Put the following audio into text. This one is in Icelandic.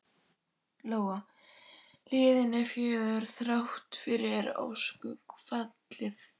Lóa: Hlíðin er fögur, þrátt fyrir öskufallið?